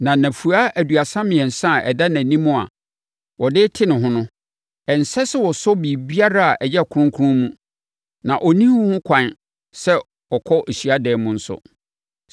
Na nnafua aduasa mmiɛnsa a ɛda nʼanim a ɔde rete ne ho no, ɛnsɛ sɛ ɔsɔ biribiara a ɛyɛ kronkron mu na ɔnni ho kwan sɛ ɔkɔ hyiadan mu nso.